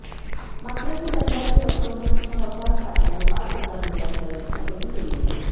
मात्र ही दंडाची रक्कमच सहकार खात्याने पाच हजार रुपयांपर्यंत कमी केली आहे